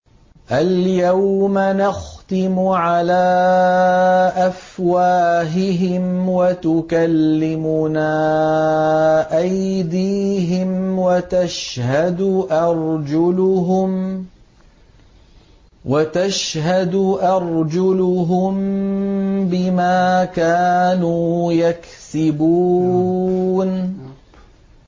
الْيَوْمَ نَخْتِمُ عَلَىٰ أَفْوَاهِهِمْ وَتُكَلِّمُنَا أَيْدِيهِمْ وَتَشْهَدُ أَرْجُلُهُم بِمَا كَانُوا يَكْسِبُونَ